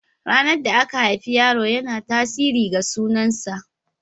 Ranar da aka haifi yaro yana tasirin ga sunan sa.